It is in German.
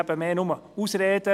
Es sind eher Ausreden.